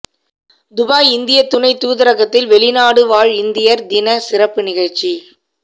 Dubai இந்திய துணை தூதரகத்தில் வெளிநாடு வாழ் இந்தியர் தின சிறப்பு நிகழ்ச்சி